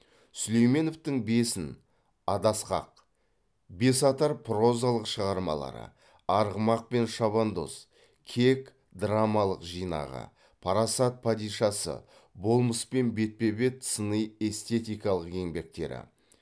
сүлейменовтің бесін адасқақ бесатар прозалық шығармалары арғымақ пен шабандоз кек драмалық жинағы парасат падишасы болмыспен бетпе бет сыни эстетикалық еңбектері